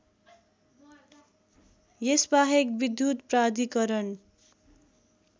यसबाहेक विद्युत प्राधिकरण